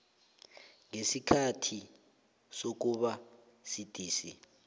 ngesikhathi sokuba sidisi